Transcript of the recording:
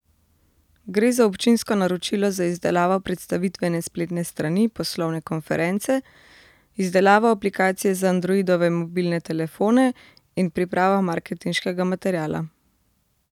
Gre za občinsko naročilo za izdelavo predstavitvene spletne strani poslovne konference, izdelavo aplikacije za Androidove mobilne telefone in pripravo marketinškega materiala.